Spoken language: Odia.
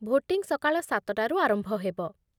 ଭୋଟିଂ ସକାଳ ସାତଟାରୁ ଆରମ୍ଭ ହେବ ।